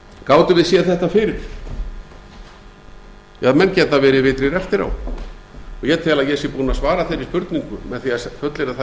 gátum við séð þetta fyrir ja menn geta verið vitrir eftir á ég tel að ég sé búinn að svara þeirri spurningu með því að fullyrða það